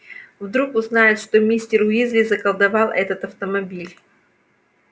вдруг узнают что мистер уизли заколдовал этот автомобиль